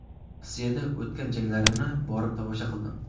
Rossiyada o‘tgan janglarini borib tomosha qildim.